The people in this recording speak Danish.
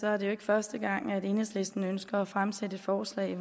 er det jo ikke første gang at enhedslisten ønsker at fremsætte et forslag